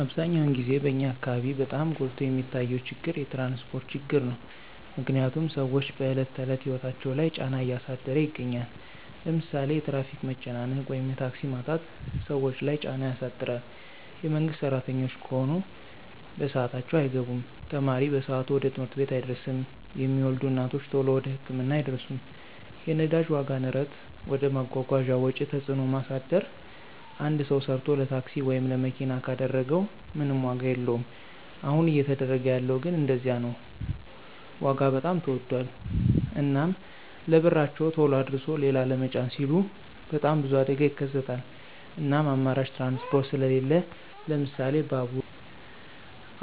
አብዛኛውን ግዜ በኛ አካበቢ በጣም ጎልቶ የሚታየው ችግር የትራንስፖርት ችግር ነው። ምክንያትም ስዎች በዕለት ተዕለት ህይወታቸው ላይ ጫና እያሳደረ ይገኛል። ለምሳሌ የትራፊክ መጨናነቅ ወይም የታክሲ ማጣት ሰዎች ለይ ጫና ያሳድር የመንግስት ስራተኞች ከሆኑ በስአታቸው አይገቡም፣ ተማሪ በሰአቱ ወደ ትምህርት ቤት አይደርስም፣ የሚወልዱ እናቶች ተሎ ወደ ህክምና አይደርሱም። የነዳጅ ዋጋ ንረት ወደ መጓጓዣ ወጪ ተጽዕኖ ማሳደር አንድ ሰው ሰርቶ ለታክሲ ወይም ለመኪና ካደረገው ምንም ዋጋ የለወም አሁን እየተደረገ ያለው ግን እንደዚያ ነው ዋጋ በጣም ተወዶል። እናም ለብርቸው ተሎ አድርሶ ሊላ ለመጫን ሲሉ በጣም ብዙ አደጋ ይከሰታል እናም አማራጭ ትራንስፖርት ስሊለን ለምሳሌ ባቡራ